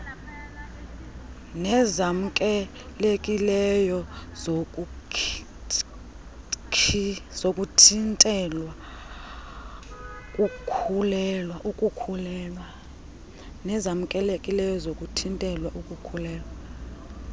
nezamkelekileyo zokuthintela ukukhulelwa